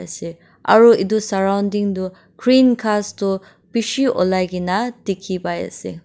se aro edu surroundings tu green ghas tu bishi olai kena dikhipaiase.